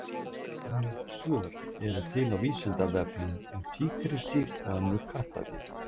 Fjölmörg svör eru til á Vísindavefnum um tígrisdýr og önnur kattardýr.